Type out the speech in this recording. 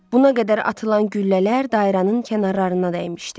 Buna qədər atılan güllələr dairənin kənarlarına dəymişdi.